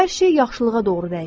Hər şey yaxşılığa doğru dəyişdi.